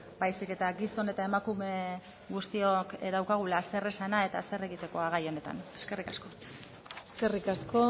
baizik eta gizon eta emakume guztiok daukagula zeresana eta zer egitekoa gai honetan eskerrik asko eskerrik asko